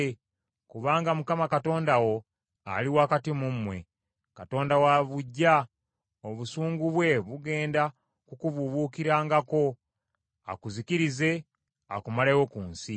kubanga Mukama Katonda wo, ali wakati mu mmwe, Katonda wa buggya; obusungu bwe bugenda kukubuubuukirangako, akuzikirize, akumalewo ku nsi.